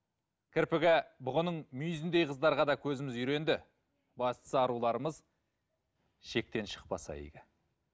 кірпігі бұғының мүйізіндей қыздарға да көзіміз үйренді бастысы аруларымыз шектен шықпаса игі